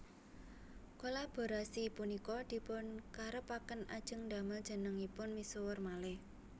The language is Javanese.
Kolaborasi punika dipun karepaken ajeng ndamel jenengipun misuwur malih